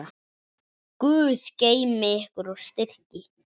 Guð geymi ykkur og styrki.